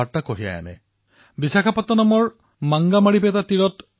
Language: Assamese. মোৰ মৰমৰ দেশবাসীসকল কেতিয়াবা কেতিয়াবা জীৱনত সৰু সৰু কথাইও ডাঙৰ কথা শিকাই যায়